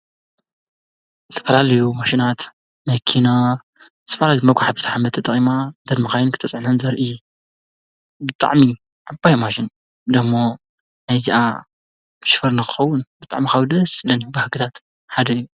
ዝተፈላለዩ ማሽናት መኪና ፣ዝተፈላለዩ መጉሓፊት ሓመድ ተጠቒምና እተን መኻይን ክትፅዕነን ዘርኢ ብጣዕሚ ዓባይ ማሽን ደሞ ናይዚኣ ሽፈር ንኽኸውን ብጣዕሚ ካብ ደስ ዝብለኒ ባህግታት ሓደ እዩ።